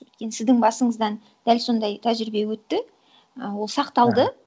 өйткені сіздің басыңыздан дәл сондай тәжірибе өтті і ол сақталды